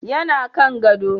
yana Kan gado